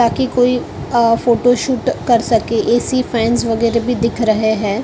ताकि कोई अ फोटोशूट कर सके ए_सी फैन वगैरह भी दिख रहे हैं ।